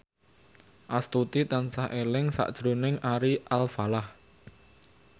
Astuti tansah eling sakjroning Ari Alfalah